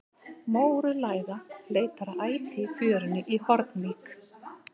Mórauð læða leitar að æti í fjörunni í Hornvík.